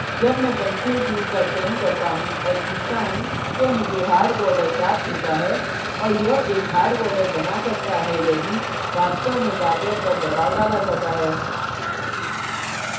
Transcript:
जब मैं pencil tool का चयन करता हूँ और खींचता हूँ तो मुझे hard border प्राप्त होता है और यह एक hard border बना सकता है यदि वास्तव में tablet पर दबाव डाला जाता है